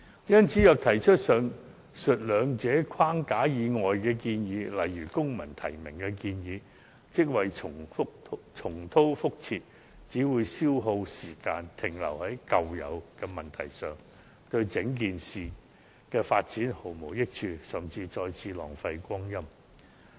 因此，若提出以上兩個框架以外的建議，例如公民提名，可說是重蹈覆轍，只會消耗時間，停留在舊有問題上，對整件事的發展毫無益處，甚至再次浪費光陰。